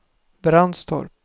Brandstorp